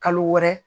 Kalo wɛrɛ